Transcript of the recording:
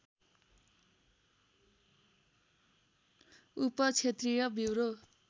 उप क्षेत्रीय ब्युरो